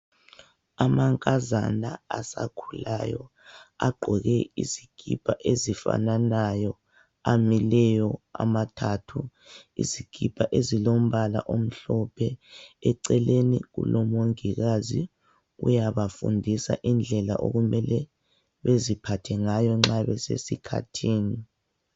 Amankazana asakhulayo, agqoke izikipa ezifanayo. Amileyo, amathathu. Izikipa ezilombala omhlophe. Eceleni kulomongikazi, uyabafundisa indlela okumele beziphathe ngayo nxa besesikhathini.